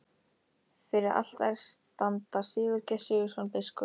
Fyrir altari standa Sigurgeir Sigurðsson, biskup